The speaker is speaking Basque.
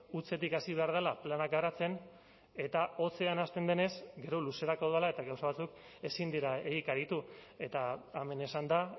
hutsetik hasi behar dela plana garatzen eta hotzean hasten denez gero luzerako dala eta gauza batzuk ezin dira egikaritu eta hemen esan da